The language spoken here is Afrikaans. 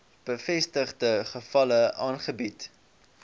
bevestigde gevalle aangebied